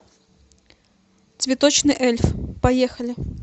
цветочный эльф поехали